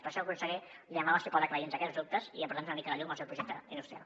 per això conseller li demano si pot aclarir nos aquests dubtes i aportar nos una mica de llum al seu projecte industrial